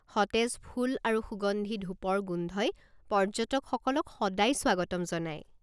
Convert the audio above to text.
সতেজ ফুল আৰু সুগন্ধি ধূপৰ গোন্ধই পৰ্য্যটক সকলক সদায় স্বাগতম জনায়।